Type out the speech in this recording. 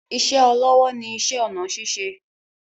Ìṣe olówó ni iṣẹ́ ọnà ṣíṣe